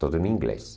Tudo em inglês.